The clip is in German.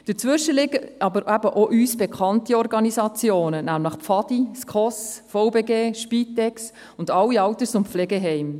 Dazwischen liegen auch uns bekannte Organisationen wie die Pfadi, die SKOS, der Verband Bernischer Gemeinden (VBG), die Spitex und alle Alters- und Pflegeheime.